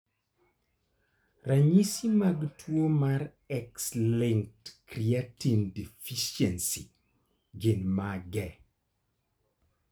Ranyisi mag tuo mar X-linked creatine deficiency gin mage?